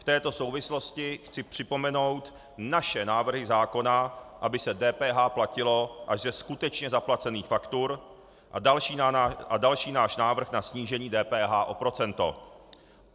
V této souvislosti chci připomenout naše návrhy zákona, aby se DPH platila až ze skutečně zaplacených faktur, a další náš návrh na snížení DPH o procento.